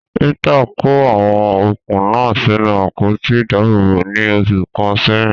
Rita kó àwọn okùn náà sínú àpótí ìdáàbòbò ní oṣù kan sẹ́yìn.